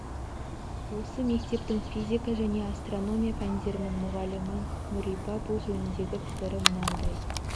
осы мектептің физика және астрономия пәндерінің мұғалімі нұрипа бұл жөніндегі пікірі мынандай